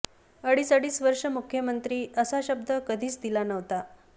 अडीच अडीच वर्ष मुख्यमंत्री असा शब्द कधीच दिला नव्हता